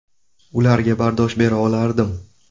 Ularga bardosh bera olardim.